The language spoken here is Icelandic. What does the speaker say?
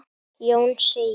Jón segir